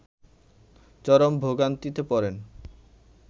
চরম ভোগান্তিতে পড়েন